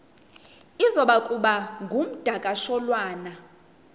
iza kuba ngumdakasholwana